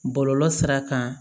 Bɔlɔlɔ sira kan